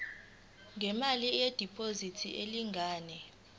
ngemali yediphozithi elingana